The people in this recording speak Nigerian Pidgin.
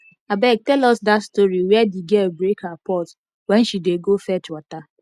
abeg tell us dat story where the girl break her pot wen she dey go fetch water